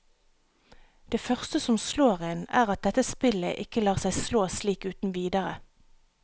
Det første som slår en, er at dette spillet ikke lar seg slå slik uten videre.